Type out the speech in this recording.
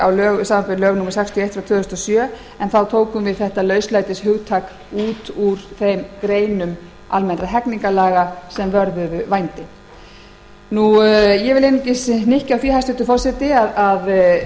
sextíu og eitt tvö þúsund og sjö en þá var lauslætishugtakið tekið út úr þeim greinum almennra hegningarlaga sem vörðuðu vændi ég vil hnykkja á því hæstvirtur forseti að